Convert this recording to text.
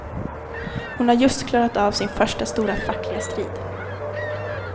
Hon har just klarat av sin första stora fackliga strid.